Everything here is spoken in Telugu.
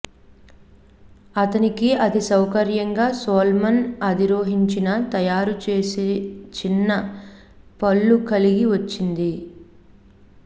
అతనికి అది సౌకర్యంగా సోల్మిన్ అధిరోహించిన తయారు చేసే చిన్న పళ్ళు కలిగి వచ్చింది